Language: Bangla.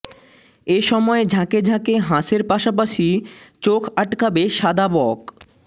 এ সময় ঝাঁকে ঝাঁকে হাঁসের পাশাপাশি চোখ আটকাবে সাদা বক